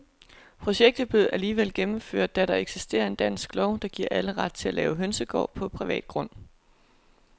Projektet blev alligevel gennemført, da der eksisterer en dansk lov, der giver alle ret til at lave hønsegård på privat grund.